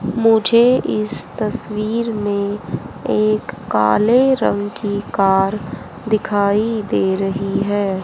मुझे इस तस्वीर में एक काले रंग की कार दिखाई दे रही है।